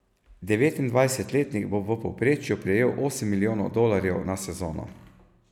Devetindvajsetletnik bo v povprečju prejel osem milijonov dolarjev na sezono.